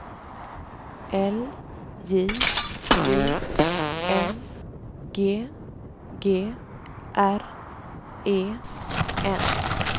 L J U N G G R E N